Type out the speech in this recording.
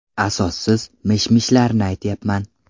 Asossiz mish-mishlarni aytyapman.